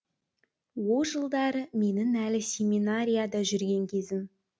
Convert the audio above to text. о жылдары менің әлі семинарияда жүрген кезім